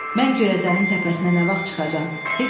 Mən Göyəzənin təpəsinə nə vaxt çıxacağam?